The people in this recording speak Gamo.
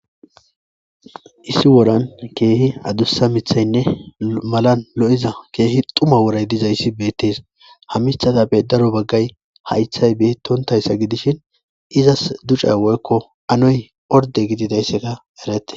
Issi woran kehi adusa mithayinne malan lo,iza kehi xuma worayi dizayisi betees ha mithazappe daro bagayi hayithayi betontayisa gidishin izas duca,yi woyiko anoyi orde gidizayisa eretes